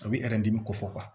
A bɛ dimi ko fɔ